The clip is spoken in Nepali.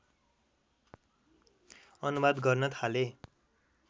अनुवाद गर्न थाले